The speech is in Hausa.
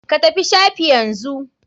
Ka tafi shafi yanzu.